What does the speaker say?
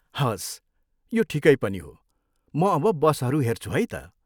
हवस्, यो ठिकै पनि हो, म अब बसहरू हेर्छु है त।